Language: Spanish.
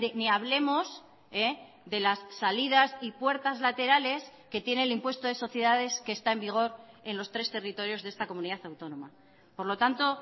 ni hablemos de las salidas y puertas laterales que tiene el impuesto de sociedades que está en vigor en los tres territorios de esta comunidad autónoma por lo tanto